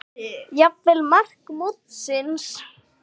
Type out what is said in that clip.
Jafnvel mark mótsins?